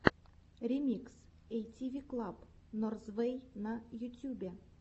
ремикс эйтиви клаб норзвэй на ютюбе